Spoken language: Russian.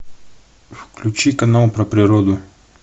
включи канал про природу